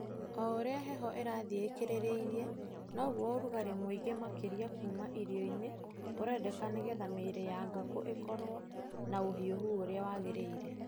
O ũrĩa heho ĩrathiĩ ĩkĩrĩrĩirie noguo ũrugarĩ mũingĩ makĩria kuma irio-inĩ ũrendeka nĩgetha mĩĩrĩ ya ngũkũ ĩkoro na ũhiuhu ũrĩa wagĩrĩire.